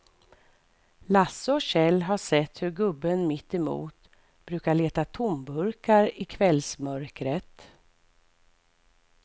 Lasse och Kjell har sett hur gubben mittemot brukar leta tomburkar i kvällsmörkret.